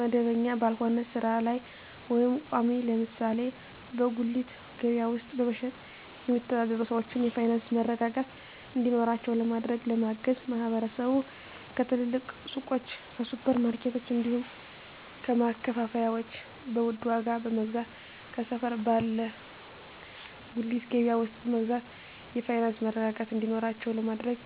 መደበኛ ባልሆነ ስራ ላይ ወይም ቋሚ (ለምሳሌ በጉሊት ገበያ ውስጥ በመሸጥ የሚተዳደሩ ሰዎችን የፋይናንስ መረጋጋት እንዲኖራቸው ለማድረግና ለማገዝ ማህበረሰቡ ከትልልቅ ሱቆች፣ ከሱፐር ማርኬቶች፣ እንዲሁም ከማከፋፈያዎች በውድ ዋጋ ከመግዛት ከሰፈር ባለ ጉሊት ገበያ ውስጥ በመግዛት የፋይናንስ መረጋጋት እንዲኖራቸው ለማድረግ